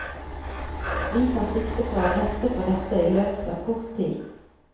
Vi tar sikte på å rette på dette i løpet av kort tid.